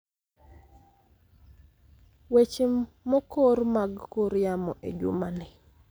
Weche mokor mag kor yamo e jumani